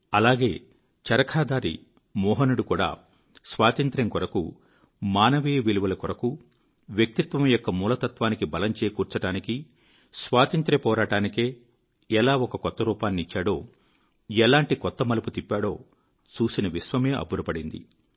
అలాగే చరఖాధారి మోహనుడు కూడా స్వాతంత్ర్యం కొరకు మానవీయ విలువల కొఱకు వ్యక్తిత్వం యొక్క మూల తత్వానికి బలం చేకూర్చడానికి స్వాతంత్ర్య పోరాటానికే ఎలా ఒక కొత్తరూపాన్నిచ్చాడో ఎలాంటి కొత్త మలుపు తిప్పాడో చూసిన విశ్వమే అబ్బురపడింది